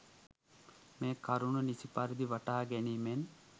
මෙම කරුණු නිසි පරිදි වටහා ගැනීමෙන්